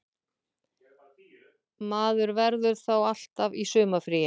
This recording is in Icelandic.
Maður verður þá alltaf í sumarfríi